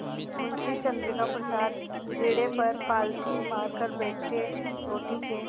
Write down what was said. मुंशी चंद्रिका प्रसाद पीढ़े पर पालथी मारकर बैठे रोटी के